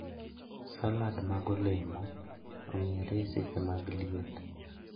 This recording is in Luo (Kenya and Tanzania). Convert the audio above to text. Salad mag olemo ong'ere e seche mag liet